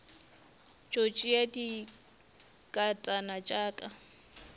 tšo tšea dinkatana tša ka